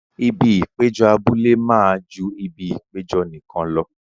Ibi ìpéjọ abúlé máa ju ibi ìpéjọ nìkan lọ.